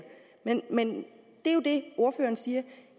men det ordføreren siger